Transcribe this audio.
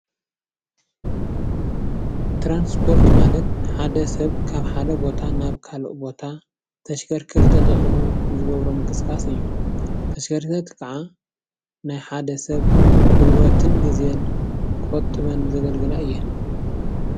ትራንስፖርት ማለት ሓደ ሰብ ካብ ሓደ ቦታ ናብ ካሊእ ቦታ ተሽከርከርቲ ተጠቂሙ ዝገብሮ ምንቅስቃስ እዩ። ተሽከርከርቲ ከዓ ናይ ሓደ ሰብ ጉልበትን ግዘን ቆጢበን ዘገልግላ እየን።